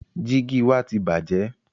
Jígì wa ti bàjẹ́.